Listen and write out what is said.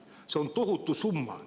See on tohutu summa.